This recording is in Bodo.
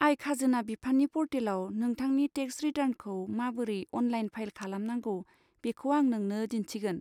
आय खाजोना बिफाननि पर्टेलाव नोंथांनि टेक्स रिटर्नखौ माबोरै अनलाइन फाइल खालामनांगौ बेखौ आं नोंनो दिन्थिगोन।